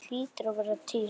Það hlýtur að vera til?